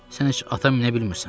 Sən heç at minə bilmirsən.